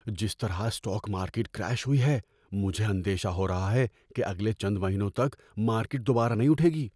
جس طرح stock market crash ہوئی ہے، مجھے اندیشہ ہو رہا ہے کہ اگلے چند مہینوں تک مارکیٹ دوبارہ نہیں اٹھے گی۔